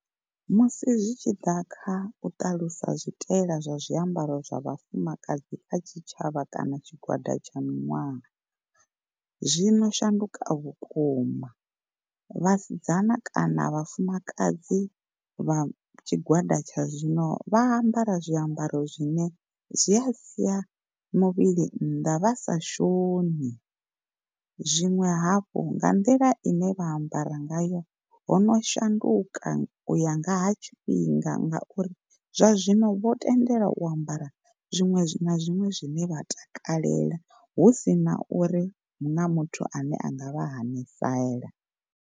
Musi zwi tshi ḓa kha u ṱalusa zwitaela zwa zwiambaro zwa vhafumakadzi kha tshitshavha kana tshigwada tsha miṅwaha. Zwino shanduka vhukuma, vhasidzana kana vhafumakadzi vha tshigwada tsha zwino vha ambara zwiambaro zwine zwi a sia muvhili nnḓa vha sa shoni. Zwiṅwe hafhu nga nḓila ine vha ambara ngayo hono shanduka uya nga ha tshifhinga ngauri zwa zwino vho tendelwa u ambara zwiṅwe na zwiṅwe zwine vha takalela husina uri huna muthu ane anga vha hanisela.